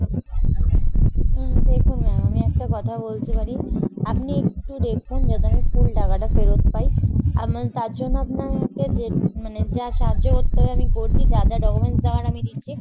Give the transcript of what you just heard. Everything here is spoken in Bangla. উম দেখুন ma'am আমি একটা কথা বলতে পারি, আপনি একটু দেখুন যাতে আমি full টাকাটা ফেরত পাই। তার জন্য আপনাকে মানে যা সাহায্য করতে হবে আমি করছি, যা যা documents দেওয়ার আমি দিচ্ছি